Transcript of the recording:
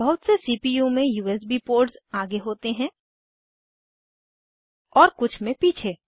बहुत से सीपीयू में यूएसबी पोर्ट्स आगे होते हैं और कुछ में पीछे